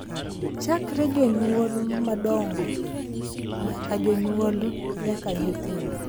Chakre jonyuol madongo nyaka jonyuol nyaka nyithindo,